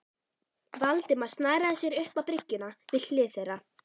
Valdimar snaraði sér upp á bryggjuna við hlið þeirra.